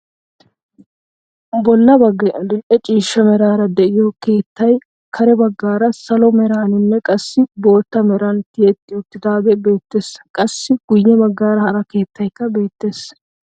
Bolla baggay adil'e ciishsha meraara de'iyoo keettay kare baggaara salo meraninne qassi bootta meran tiyetti uttidagee beettees. qassi guye baggaara hara keettaykka beettees.